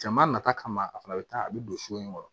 Jama nata kama a fana bɛ taa a bɛ don so in kɔnɔ